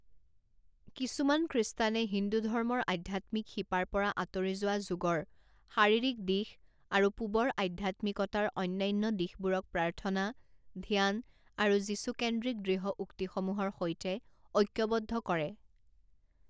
কিছুমান খ্ৰীষ্টানে হিন্দু ধৰ্মৰ আধ্যাত্মিক শিপাৰ পৰা আঁতৰি যোৱা যোগৰ শাৰীৰিক দিশ আৰু পূবৰ আধ্যাত্মিকতাৰ অন্যান্য দিশবোৰক প্ৰাৰ্থনা, ধ্যান আৰু যীচুকেন্দ্ৰিক দৃঢ় উক্তিসমূহৰ সৈতে ঐক্যবদ্ধ কৰে।